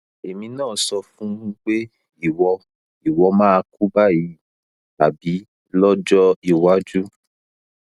ẹni náà sọ fún un pé ìwọ ìwọ máa kú báyìí tàbí lọjọ iwájú